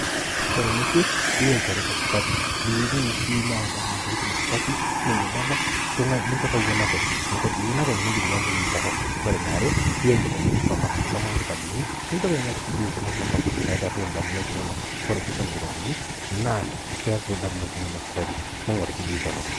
Kore nekwee teiyei ilchoreeta supaati ni wuenini niwueni adamu ntokitin supati ning'idada tung'ai meitoki awuen openy amu kore pii wuen openy niifikiria ntokitin tororrok. Kore ne aare teyei nkitabuni soma, soma nkitabuni miintoki aing'orr biidi kuna torrok naitoroo damunot enono. Kore piisom nkitabuni naa keeku damunot nono supati miing'or biidi tororrok.